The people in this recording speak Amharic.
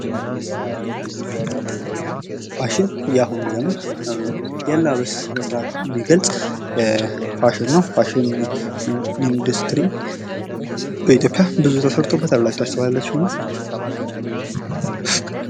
ፋሽን የአሁን ዘመን እያንዳንዱን ስነስርዓት የሚገልጽ ፋሽን ነው። ፋሽን ኢንዱስትሪ በኢትዮጵያ ብዙ ተሰርቶበታል ብላችሁ ታስባላችሁን?